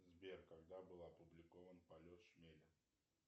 сбер когда был опубликован полет шмеля